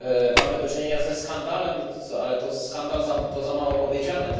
Mamy do czynienia ze skandalem, ale skandal to za mało powiedziane.